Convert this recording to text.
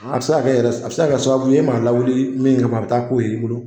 A bi se ka yɛrɛ a bi se ka kɛ sababu ye e m'a lawuli min kama a bi taa k'o ye i bolo